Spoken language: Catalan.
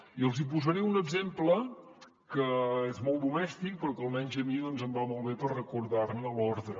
i els hi posaré un exemple que és molt domèstic però que almenys a mi em va molt bé per recordar ne l’ordre